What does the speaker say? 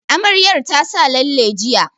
Amaryar ta sa lalle jiya